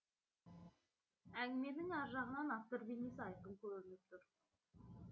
әңгіменің әр жағынан автор бейнесі айқын көрініп тұр